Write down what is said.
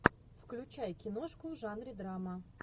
включай киношку в жанре драма